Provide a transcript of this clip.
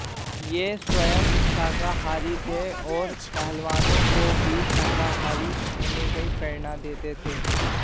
यह स्वयम शाकाहारी थे और पहलवानों को भी शाकाहारी होने की प्रेरणा देते थे